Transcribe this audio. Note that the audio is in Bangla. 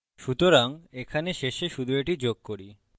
সুতরাং এখানে শেষে শুধু এটি যোগ করি